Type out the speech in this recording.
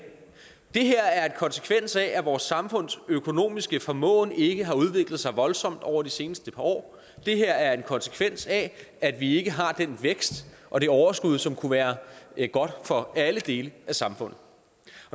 det her er en konsekvens af at vores samfunds økonomiske formåen ikke har udviklet sig voldsomt over de seneste par år og det er en konsekvens af at vi ikke har den vækst og det overskud som kunne være godt for alle dele af samfundet